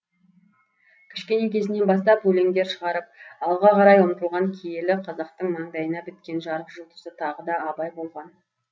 кішкене кезінен бастап өлеңдер шығарып алға қарай ұмтылған киелі қазақтың мандайына біткен жарық жұлдызы тағы да абай болған